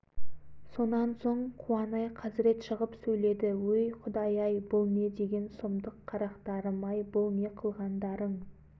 бұларың қалай сабыр қыл тоқта деді жұрт басылды тоқтады кейбіреулер жұртты ұялтып сөз сөйледі жұрт басылды